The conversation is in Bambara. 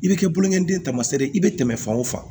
I bɛ kɛ bulonkɛden ye tamaseere ye i bɛ tɛmɛ fan o fan